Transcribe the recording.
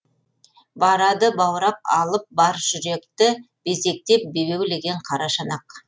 барады баурап алып бар жүректі безектеп бебеулеген қара шанақ